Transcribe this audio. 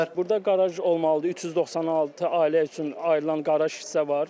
Burda qaraj olmalıdır, 396 ailə üçün ayrılan qaraj hissə var.